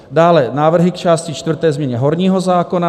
Dále návrhy k části čtvrté, změně horního zákona.